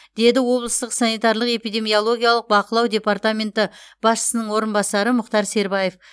деді облыстық санитарлық эпидемиологиялық бақылау департаменті басшысының орынбасары мұхтар сербаев